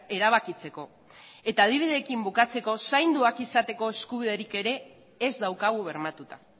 erabakitzeko eta adibideekin bukatzeko zainduak izateko eskubiderik ere ez daukagu bermatuta